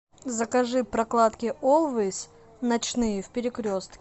закажи прокладки олвейс ночные в перекрестке